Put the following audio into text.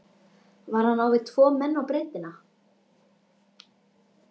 Var hann á við tvo menn á breiddina?